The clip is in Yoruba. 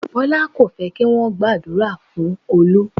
Bọlá kò fẹ́ kí wọn gba àdúrà fún Olú